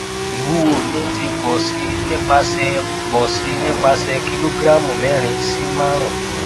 iwuwo mi ti pọ si nipasẹ pọ si nipasẹ kilogramu mẹrin si marun